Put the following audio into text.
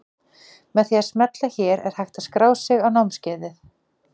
Með því að smella hér er hægt að skrá sig á námskeiðið.